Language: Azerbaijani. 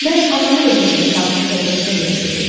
Mən anamı da bu cür sakit təbiətinə görə sevirdim.